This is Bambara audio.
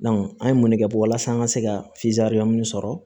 an ye mun ne kɛ walasa an ka se ka sɔrɔ